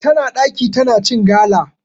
Tana ɗaki tana cin gala.